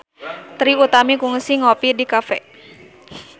Trie Utami kungsi ngopi di cafe